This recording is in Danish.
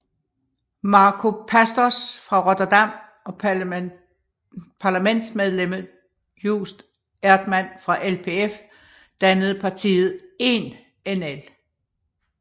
Marco Pastors fra Rotterdam og parlamentsmedlemmet Joost Eerdmans fra LPF dannede partiet Eén NL